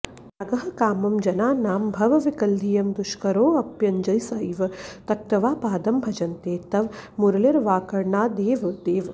त्यागः कामं जनानां भवविकलधियं दुष्करोऽप्यञ्जसैव त्यक्त्वा पादं भजन्ते तव मुरलिरवाकर्णनादेव देव